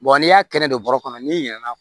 n'i y'a kɛnɛ don bɔrɔ kɔnɔ n'i ɲina na